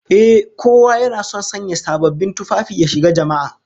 Ehh, kowa yana son sanya sababbin tufafi ya shiga jama'a